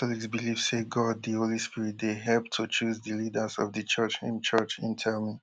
catholics believe say god di holy spirit dey help to choose di leaders of di church im church im tell me